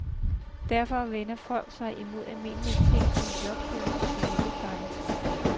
Derfor vender folk sig imod almindelige ting som jobsøgning og familiepleje.